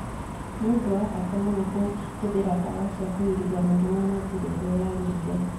Nĩ ũndũ wa bata mũno kũhũthĩra ndawa cia kũgiria mũrimũ na njĩra ĩrĩa yagĩrĩire.